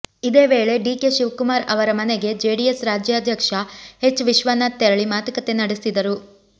ಇದೇ ವೇಳೆ ಡಿಕೆ ಶಿವಕುಮಾರ್ ಅವರ ಮನೆಗೆ ಜೆಡಿಎಸ್ ರಾಜ್ಯಾಧ್ಯಕ್ಷ ಎಚ್ ವಿಶ್ವನಾಥ್ ತೆರಳಿ ಮಾತುಕತೆ ನಡೆಸಿದರು